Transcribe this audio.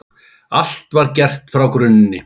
Allt var gert frá grunni.